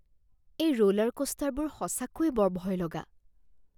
এই ৰ'লাৰক'ষ্টাৰবোৰ সঁচাকৈয়ে বৰ ভয়লগা